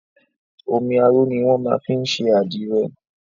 Omi aró ni wọ́n máa fin ń ṣe àdìrẹ.